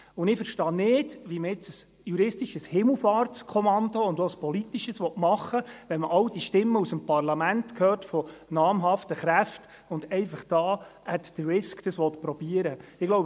Ich verstehe nicht, warum man nun ein juristisches und auch politisches Himmelfahrtskommando machen will, wenn man all die Stimmen aus dem Parlament hört, von namhaften Kräften, und dies einfach «at the risk» probieren will.